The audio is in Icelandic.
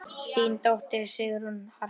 Þín dóttir, Sigrún Harpa.